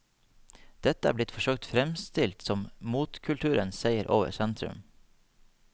Dette er blitt forsøkt fremstilt som motkulturenes seier over sentrum.